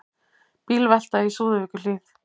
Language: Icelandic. Bílvelta í Súðavíkurhlíð